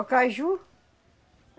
O caju.